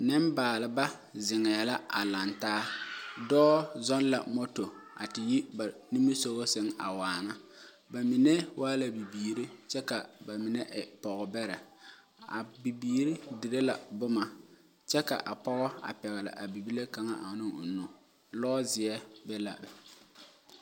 Nenbaalba zeŋee la a laŋ taa dɔɔ zoo la moto a te yi ba niŋe sogo sage a waana ba mine waa la bibiiri kyɛ ka ba mine e pɔge bɛre, a bibiiri dire la boma kyɛ kaa pɔge pegle a bibile kaŋa ne o nu lɔɔ zie be la.